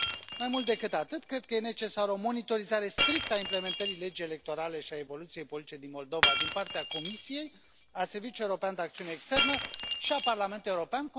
Mai mult decât atât, cred că e necesară o monitorizare strictă a implementării legii electorale și a evoluției politice din Moldova din partea Comisiei, a Serviciului European de Acțiune Externă și a Parlamentului European.